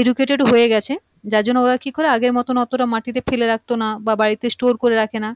educated হয়ে গিয়েছে যার জন্যে ওরা কি করে আগের মতন মাটি তে ফেলে রাখতো না বা বাড়িতে store করে রাখে না